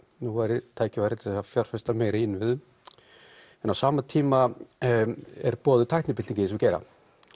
nú væri tækifæri til að fjárfesta meira í innviðum en á sama tíma er boðuð tæknibylting í þessum geira